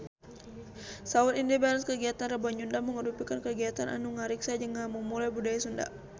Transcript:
Saur Indy Barens kagiatan Rebo Nyunda mangrupikeun kagiatan anu ngariksa jeung ngamumule budaya Sunda